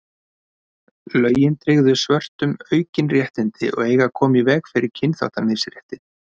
lögin tryggðu svörtum aukin réttindi og eiga að koma í veg fyrir kynþáttamisrétti